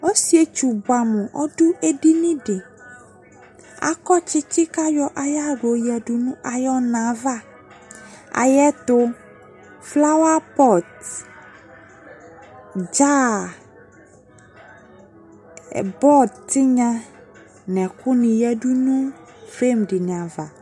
Ɔsietsu buamu ɔdo edini de Akɔ tsetse ko ayɔ ayahla yɔ yadu no ayɔ na va Ayeto flawapɔt, dzaa, bɔɔ tenya no ɛku ne yadu no frem de ne ava